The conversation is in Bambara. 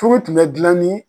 Furu tun bɛ gilan ni